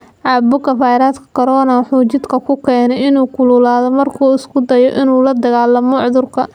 Caabuqa fayraska Corona waxa uu jidhka ku keenaa in uu kululaado marka uu isku dayayo in uu la dagaalamo cudurka.